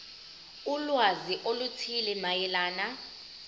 ulwazi oluthile mayelana